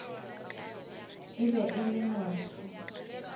e be e le motho